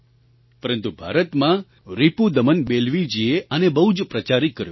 પરંતુ ભારતમાં રિપુદમન બેલ્વીજીએ આને બહુ જ પ્રચારિત કર્યો છે